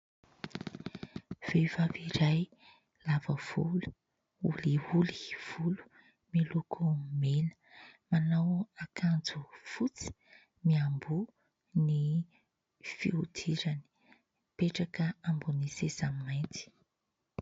Vehivavy iray lava volo, holiholy volo, miloko mena, manao akanjo fotsy, miamboho, ny fihodirany, mipetraka ambonin'ny seza mainty